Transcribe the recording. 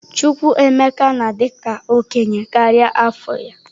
Chukwuemeka na-adị ka okenye karịa afọ ya.